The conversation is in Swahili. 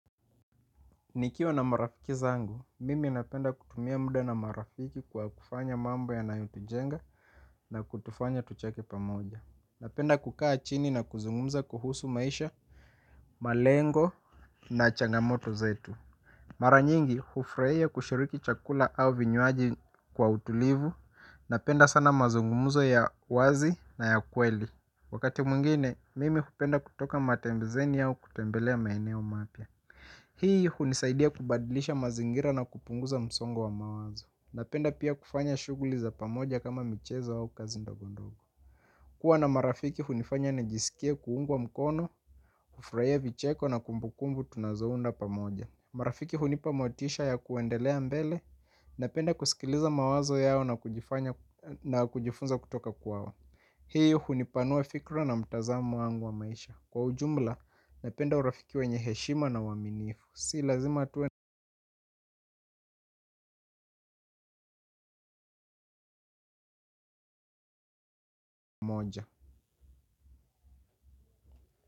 Nikiwa na marafiki zangu, mimi napenda kutumia muda na marafiki kwa kufanya mambo yanayo tujenga na kutufanya tucheke pamoja. Napenda kukaa chini na kuzungumza kuhusu maisha, malengo na changamoto zetu. Mara nyingi, hufurahia kushiriki chakula au vinywaji kwa utulivu, napenda sana mazungumzo ya wazi na ya kweli. Wakati mwingine mimi hupenda kutoka matembezeni au kutembelea maeneo mapya hii hunisaidia kubadilisha mazingira na kupunguza msongo wa mawazo napenda pia kufanya shughuli za pamoja kama michezo au kazi ndogondogo. Kuwa na marafiki hunifanya nijisikie kuungwa mkono, kufurahia vicheko na kumbukumbu tunazounda pamoja. Marafiki hunipa motisha ya kuendelea mbele. Napenda kusikiliza mawazo yao na kujifunza kutoka kwao. Hii hunipanua fikra na mtazamo wangu wa maisha. Kwa ujumla, napenda urafiki wenye heshima na uaminifu. Si lazima tuwe moja.